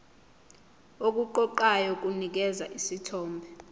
okuqoqayo kunikeza isithombe